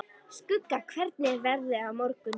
Skugga, hvernig er veðrið á morgun?